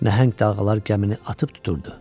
Nəhəng dalğalar gəmini atıb tuturdu.